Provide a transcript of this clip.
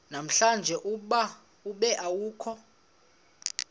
namhlanje ube awukho